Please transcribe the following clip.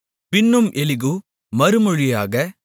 பின்னும் எலிகூ மறுமொழியாக